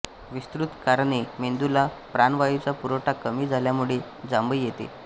विस्तृत कारणे मेंदुला प्राणवायुचा पुरवठा कमी झाल्यामुळे जांभई येते